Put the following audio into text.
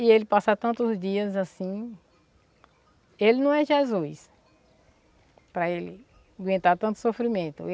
E ele passar tantos dias assim, ele não é Jesus para ele aguentar tanto sofrimento.